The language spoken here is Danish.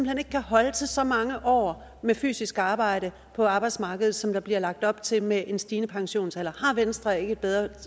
hen ikke kan holde til så mange år med fysisk arbejde på arbejdsmarkedet som der bliver lagt op til med en stigende pensionsalder har venstre ikke et bedre